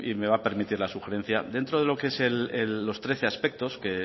me va a permitir la sugerencia dentro de lo que son los trece aspectos que